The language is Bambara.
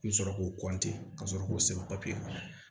I bɛ sɔrɔ k'o ka sɔrɔ k'o sɛbɛn kɔnɔ